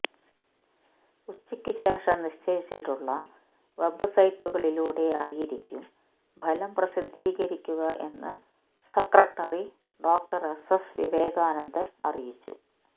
ഉച്ചക്ക് ശേഷം നിശ്ചയിച്ചിട്ടുള്ള വെബ്സൈറ്റുകളിലൂടെ ആയിരിക്കും ഫലം പ്രസിദ്ധീകരിക്കുക എന്ന് secretary doctor S S Vivekanandan അറിയിച്ചു